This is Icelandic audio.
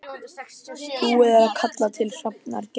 Búið er að kalla til Hafnar Gerði